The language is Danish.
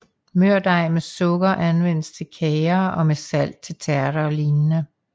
Mørdej med sukker anvendes til kager og med salt til tærter og lignende